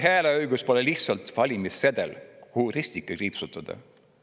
Hääleõigus pole lihtsalt valimissedel, kuhu ristike.